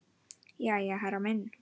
Jæja, herra minn.